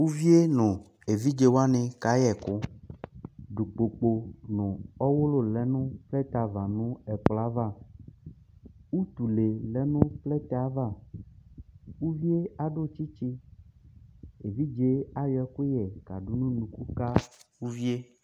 uvié nõ évidjéwani kayɛkõ dukpokpo nũ õwulõlɛnu plɛtɛava nu ɛkplõava utulé lɛnu plɛtɛava uvié adu tsitsi évidjé ayõ ɛkuyɛ kadó nu nuku ka uvié